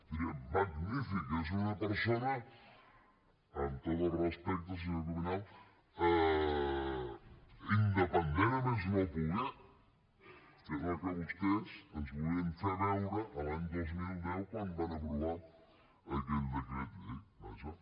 dirien magnífic és una persona amb tots els respectes senyor cuminal independent a més no poder que és el que vostès ens volien fer veure l’any dos mil deu quan van aprovar aquell decret llei vaja